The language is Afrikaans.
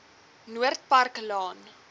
noord park laan